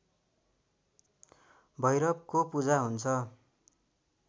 भैरवको पूजा हुन्छ